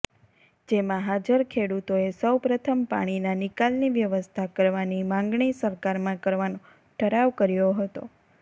જેમાં હાજર ખેડૂતોએ સૌપ્રથમ પાણીના નિકાલની વ્યવસ્થા કરવાની માંગણી સરકારમાં કરવાનો ઠરાવ કર્યો હતો